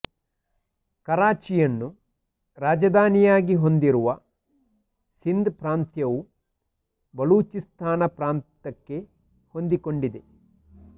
ಕರಾಚಿಯನ್ನು ರಾಜಧಾನಿಯಾಗಿ ಹೊಂದಿರುವ ಸಿಂಧ್ ಪ್ರಾಂತವು ಬಲೂಚಿಸ್ತಾನ ಪ್ರಾಂತಕ್ಕೆ ಹೊಂದಿಕೊಂಡಿದೆ